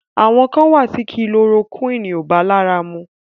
Àwọn kàn wà tí kulorokúìnì ò bá lára mu.